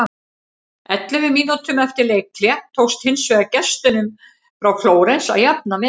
Ellefu mínútum eftir leikhlé tókst hins vegar gestunum frá Flórens að jafna metin.